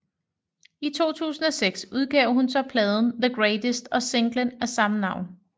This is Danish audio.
I 2006 udgav hun så pladen The Greatest og singlen af samme navn